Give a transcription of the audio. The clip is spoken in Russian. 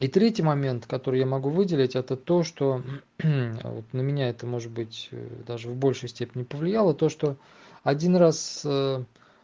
и третий момент который я могу выделить это то что вот на меня это может быть даже в большей степени повлияло то что один раз